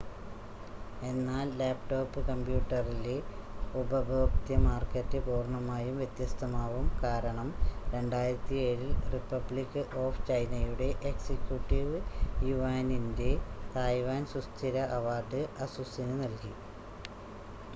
എന്നാൽ ലാപ്ടോപ്പ് കമ്പ്യൂട്ടറിലെ ഉപഭോക്തൃ മാർക്കറ്റ് പൂർണ്ണമായും വ്യത്യസ്തമാവും കാരണം 2007-ൽ റിപ്പബ്ലിക് ഓഫ് ചൈനയുടെ എക്സികുട്ടീവ് യുവാനിൻ്റെ തായ്‌വാൻ സുസ്ഥിര അവാർഡ് അസുസിന് നൽകി